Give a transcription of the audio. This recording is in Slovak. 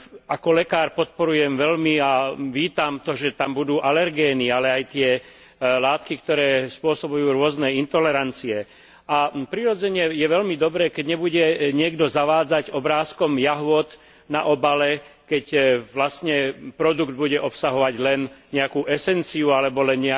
Ako lekár podporujem veľmi a vítam to, že tam budú alergény, ale aj tie látky, ktoré spôsobujú rôzne intolerancie, a, prirodzene, je veľmi dobré, keď nebude niekto zavádzať obrázkom jahôd na obale, keď, vlastne, produkt bude obsahovať len nejakú esenciu alebo len